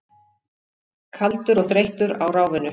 Kaldur og þreyttur á ráfinu.